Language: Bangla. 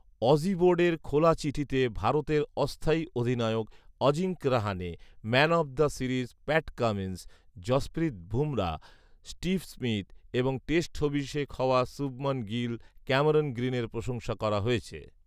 অজি বোর্ডের খোলা চিঠিতে ভারতের অস্থায়ী অধিনায়ক Ajinkya Rahane, man of the series Pat Cummins, Jasprit Bumrah, Steve Smith এবং টেস্ট অভিষেক হওয়া শুবমান গিল ও ক্যামেরন গ্রিনের প্রশংসা করা হয়েছে